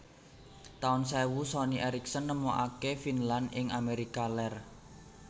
Taun sewu Sony Ericsson nemokaken Vinland ing Amérika Lèr